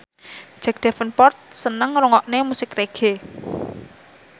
Jack Davenport seneng ngrungokne musik reggae